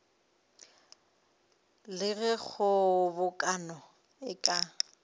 le ge kgobokano e ka